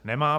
Nemá.